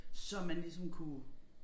Så man ligesom kunne